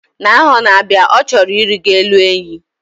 Na aho n; abia, o choro irigo elu enyi